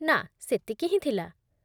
ନା, ସେତିକି ହିଁ ଥିଲା।